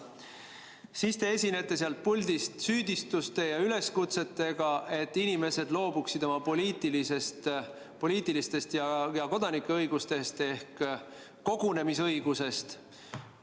Ja siis te esinete sealt puldist süüdistuste ja üleskutsetega, et inimesed loobuksid oma poliitilistest ja kodanikuõigustest, näiteks kogunemisõigusest.